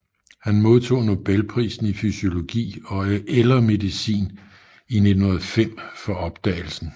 Han modtog Nobelprisen i fysiologi eller medicin i 1905 for opdagelsen